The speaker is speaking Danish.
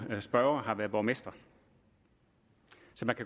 spørger har været borgmester